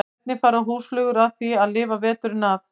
Hvernig fara húsflugur að því að lifa veturinn af?